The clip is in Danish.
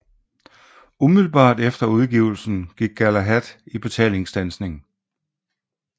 Umiddelbart efter udgivelsen gik Galahad i betalingsstandsning